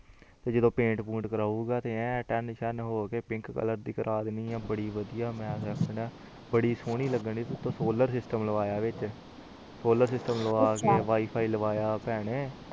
ਤੇ ਜਦੋ ਪੈਨਤ ਪੰਤ ਕਰੂਗਾ ਤੇ ਐਨ ਤਾਂ ਤਾਂ ਹੋਕੇ ਬੜੀ ਸੋਹਣੇ ਲੱਗਣੀ ਸੋਲਰ ਸਿਸਟਮ ਲਾਗਵਾਉਗਾ ਸੋਲਰ ਸਿਸਟਮ ਲਾਵਾਂ ਕੇ ਵਈਫ਼ੀ ਲਾਵਾਯਾ ਭੈਣੇ